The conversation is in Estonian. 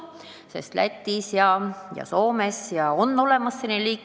Näiteks Lätis ja Soomes on selline trubakatoodete kategooria olemas.